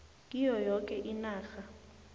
kiyo yoke inarha